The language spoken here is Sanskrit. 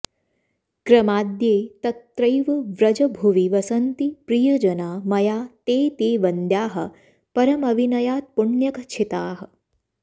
क्रमाद्ये तत्रैव व्रजभुवि वसन्ति प्रियजना मया ते ते वन्द्याः परमविनयात्पुण्यखचिताः